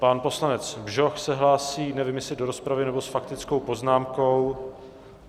Pan poslanec Bžoch se hlásí, nevím, jestli do rozpravy, nebo s faktickou poznámkou.